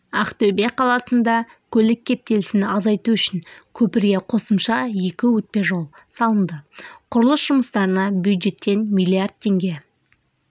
ақтөбе қаласында көлік кептелісін азайту үшін көпірге қосымша екі өтпежол салынды құрылыс жұмыстарына бюджеттен миллиард теңге